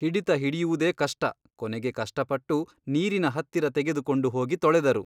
ಹಿಡಿತ ಹಿಡಿಯುವುದೇ ಕಷ್ಟ ಕೊನೆಗೆ ಕಷ್ಟಪಟ್ಟು ನೀರಿನ ಹತ್ತಿರ ತೆಗೆದುಕೊಂಡು ಹೋಗಿ ತೊಳೆದರು.